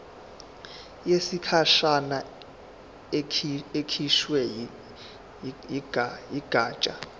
yesikhashana ekhishwe yigatsha